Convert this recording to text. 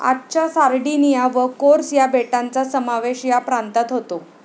आजच्या सार्डिनिया व कोर्स या बेटांचा समावेश या प्रांतात होतो.